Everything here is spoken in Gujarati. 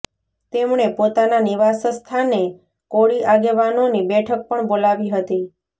તેમણે પોતાના નિવાસસ્થાને કોળી આગેવાનોની બેઠક પણ બોલાવી હતી